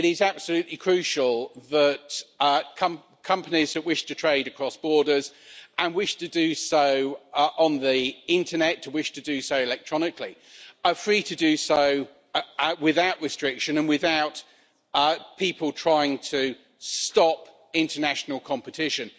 It is absolutely crucial that companies that wish to trade across borders, and wish to do so on the Internet or wish to do so electronically, are free to do so without restriction and without people trying to stop international competition.